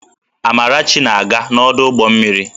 Amarachi na-aga n'ọdụ ụgbọ mmiri